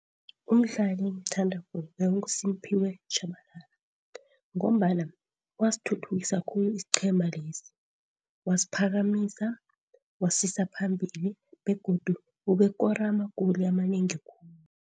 Umdlali engimthandako bekunguSimphiwe Tjhabalala ngombana wasithuthukisa khulu isiqhema lesi. Wasiphakamisa, wasisa phambili begodu ubekoro ama-goal amanengi khulu.